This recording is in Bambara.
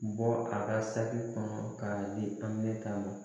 Bɔ a ka saki kɔnɔ k'a di an bɛ ta'a